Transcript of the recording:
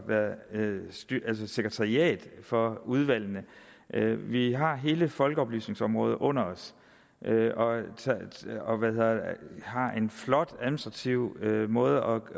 at være sekretariat for udvalgene vi har hele folkeoplysningsområdet under os og har en flot administrativ måde